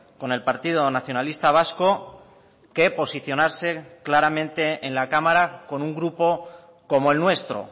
con el partido nacionalista vasco que posicionarse claramente en la cámara con un grupo como el nuestro